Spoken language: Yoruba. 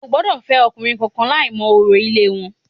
O ò gbọ́dọ̀ fẹ́ ọkùnrin kankan láì mọ orò ilé wọn